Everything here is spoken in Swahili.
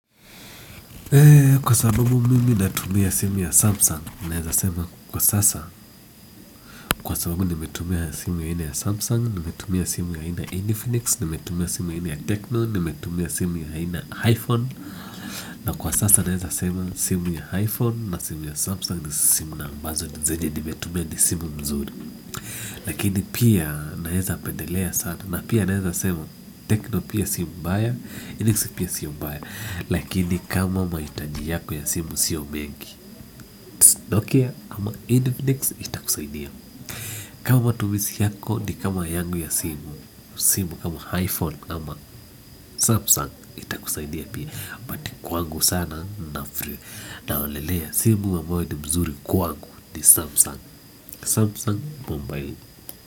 Kwa sababu mimi natumia simu ya Sumsung, naweza sema kwa sasa, kwa sababu nimetumia simu aina ya samsung, nimetumia simu aina ya infinix, nimetumia simu aina ya techno, nimetumia simu aina ya Iphone na kwa sasa naweza sema simu ya iphone na simu ya samsung ni simu ambazo zenye nimetumia ni simu nzuri lakini pia naweza pendelea sana. Na pia naweza sema Teckno pia sio mbaya, Infinix pia sio mbaya. Lakini kama mahitaji yako ya simu sio mengi Ok ama infinix itakusaidia kama matumizi yako ni kama yangu ya simu simu kama iPhone ama Samsung itakusaidia pia. Kwa angu sana na free na olelea simu wa mawe ni mzuri kwa angu ni Samsung Samsung Mumbai.